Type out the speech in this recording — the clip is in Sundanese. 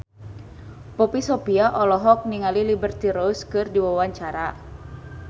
Poppy Sovia olohok ningali Liberty Ross keur diwawancara